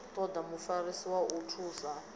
toda mufarisi wa u nthusa